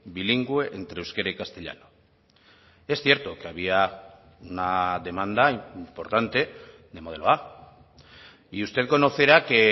bilingüe entre euskera y castellano es cierto que había una demanda importante de modelo a y usted conocerá que